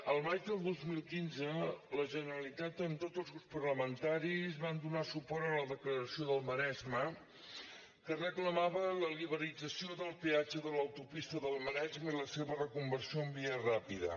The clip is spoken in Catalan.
el maig del dos mil quinze la generalitat amb tots els grups parlamentaris vam donar suport a la declaració del maresme que reclamava la liberalització del peatge de l’autopista del maresme i la seva reconversió en via ràpida